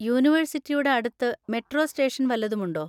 യൂണിവേഴ്‌സിറ്റിയുടെ അടുത്ത് metro station വല്ലതും ഉണ്ടോ?